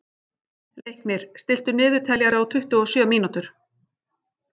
Leiknir, stilltu niðurteljara á tuttugu og sjö mínútur.